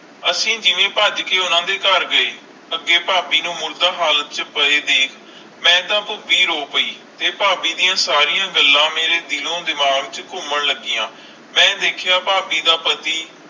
ਅਸੀਂ ਜਿਵੇ ਪਾਜ ਕੇ ਓਹਨਾ ਦੇ ਕਰ ਗਏ ਅਗੈ ਫਾਬੀ ਨੂੰ ਮੁਰਦਾ ਹਾਲਤ ਚ ਪੀਯਾ ਦੇਖ ਮਈ ਤਾ ਖੁਦੀ ਰੋ ਪੈ ਤੇ ਫਾਬੀ ਦੀਆ ਸਾਰੀਆਂ ਗੱਲਾਂ ਮੇਰੇ ਦਿਲ ਓ ਦਿਮਾਗ਼ ਚ ਕੂਮੈਨ ਲੱਗੀਆਂ ਮਈ ਦੇਖਿਆ ਫਾਬੀ ਦਾ ਪਤੀ